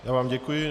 Já vám děkuji.